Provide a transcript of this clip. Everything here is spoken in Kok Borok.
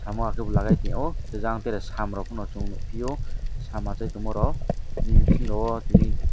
samo haike bo lagai tongyo hingke jang tere sam rok pono chong nogpiyo sam aasai tongma rok nim bising rogo tini.